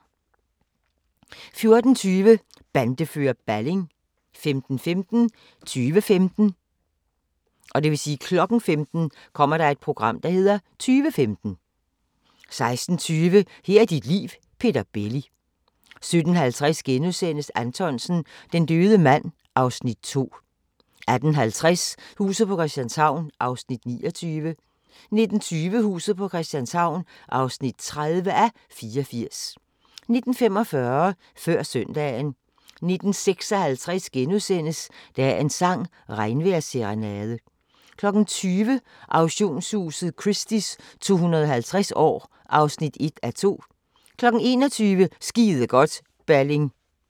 14:20: Bandefører Balling 15:15: Tyve-femten 16:20: Her er dit liv – Peter Belli 17:50: Anthonsen - Den døde mand (Afs. 2)* 18:50: Huset på Christianshavn (29:84) 19:20: Huset på Christianshavn (30:84) 19:45: Før Søndagen 19:56: Dagens sang: Regnvejrsserenade * 20:00: Auktionshuset Christie's 250 år (1:2) 21:00: Skide godt, Balling